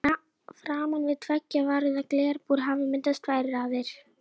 En það er ekki orðið mikið um töðuilm.